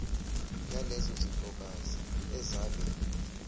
yalezo zintokazi ezabe